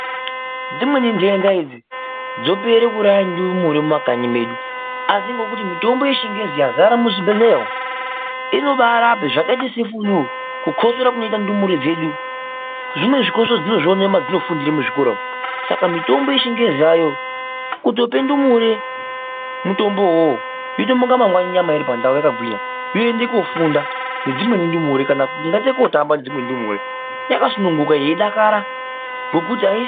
Dzimweni ndenda idzi dzopera kuuraya ndumure mumakanyi medu asi ngekuti mutombo yechingezi yazara muzvibhedhlera umo inobarapa zvakaita sefulu kukosora kunoita ndumure dzedu, zvimweni zvikosoro dzinozvionere madzinofundire muzvikora umo Saka mitomba yechingezi ayo kutope ndumure mutombowo uwowo yotomuka mangwani nyama iripandau yakagwinya yoende kufunda nedzimweni ndumure kana kungaite kotamba nedzimweni ndumure yakasununguka yeidakara ngokuti aisi.